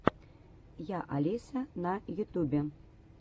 я алиса на ютюбе